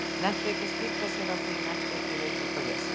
Nennti ekki að skipta sér af því, nennti ekki í rifrildi og vesen.